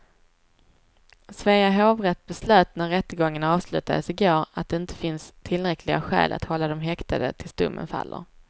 Svea hovrätt beslöt när rättegången avslutades i går att det inte finns tillräckliga skäl att hålla dem häktade tills domen faller.